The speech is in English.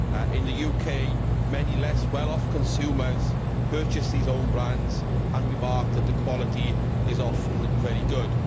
In the UK, many less well off consumers purchase these own brands and remark that the quality is often very good.